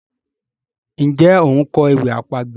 Njé o nkọ ewì àpagbè?